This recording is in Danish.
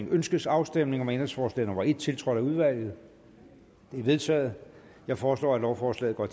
ønskes afstemning om ændringsforslag nummer en tiltrådt af udvalget det er vedtaget jeg foreslår at lovforslaget går